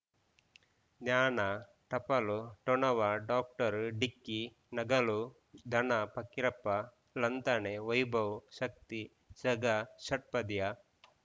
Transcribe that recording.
ಜ್ಞಾನ ಟಪಾಲು ಠೊಣವಾ ಡಾಕ್ಟರ್ ಢಿಕ್ಕಿ ಣಗಳು ಧನ ಫಕೀರಪ್ಪ ಳಂತಾನೆ ವೈಭವ್ ಶಕ್ತಿ ಝಗಾ ಷಟ್ಪದಿಯ